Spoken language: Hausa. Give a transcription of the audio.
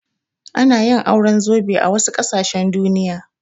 Ana yin auren zobe a wasu ƙasashen Duniya.